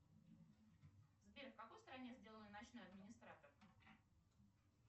сбер в какой стране сделан ночной администратор